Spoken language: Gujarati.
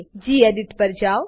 ગેડિટ પર જાવ